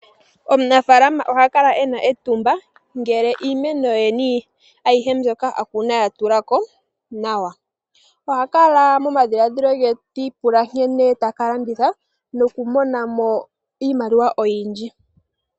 Omunafaalama oha kala e na etumba ngele iimeno ye ayihe mbyoka a kuna ya tula ko nawa. Oha kala momadhiladhilo ge ti ipula nkene ta ka landitha nokumona mo iimaliwa oyindji.